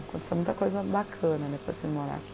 Aconteceu muita coisa bacana depois de eu vir morar aqui.